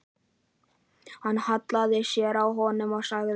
Hann hallaði sér að honum og sagði